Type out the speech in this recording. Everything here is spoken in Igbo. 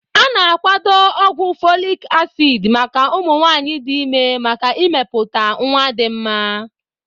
A na akwado ogwu folic acid maka ụmụ nwanyị dị ime maka imepụta nwa dị mma.